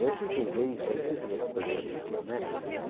Hoje quem vê isso aí pensa é uma coisa ridícula né.